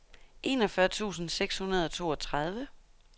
enogfyrre tusind seks hundrede og toogtredive